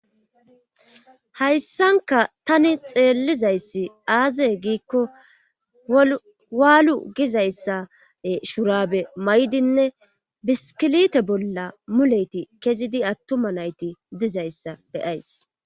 hayssanka tani xeellizayssi aazee giikko waalu gizayssa shurabe maydinne biskilite bolla muleyti kezidi attuma nayti dizayssa be7ays.